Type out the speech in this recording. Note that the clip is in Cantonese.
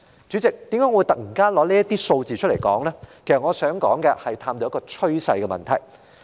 主席，我之所以談論這些數字，是因為我想探討趨勢的問題。